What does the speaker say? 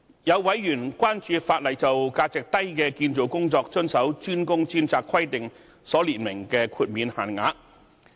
有委員關注法例就價值低的建造工作遵守"專工專責"規定所列明的豁免限額。